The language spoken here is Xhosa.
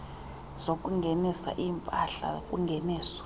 zokungenisa iimpahla kungeniso